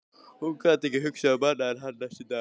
Hún gat ekki hugsað um annað en hann næstu daga.